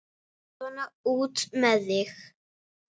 Svona, út með þig!